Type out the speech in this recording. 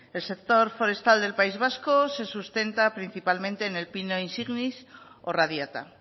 el sector forestal del país vasco se sustenta principalmente en el pino insignis o radiata